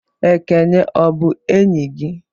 Ekene ọ bụ enyị gị?